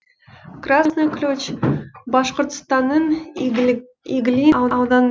красный ключ башқұртстанның иглин ауданындағы ауыл иглин ауылдық кеңесіне жатады